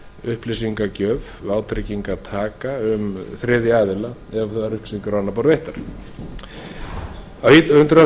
upplýsingagjöf vátryggingartaka um þriðja aðila ef upplýsingar eru á annað borð veittar á hundrað